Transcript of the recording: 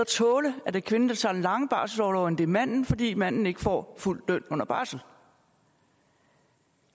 tåle at det er kvinden der tager den lange barselsorlov end det er manden fordi manden ikke får fuld løn under barsel